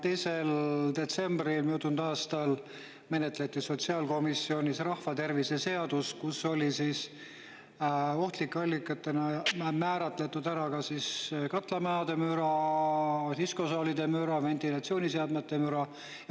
2. detsembril möödunud aastal menetleti sotsiaalkomisjonis rahvatervise seadust, kus oli ohtlike allikatena määratletud katlamajade müra, diskosaalide müra, ventilatsiooniseadmete müra.